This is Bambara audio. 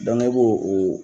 i bɛ o